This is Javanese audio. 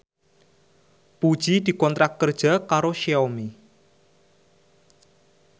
Puji dikontrak kerja karo Xiaomi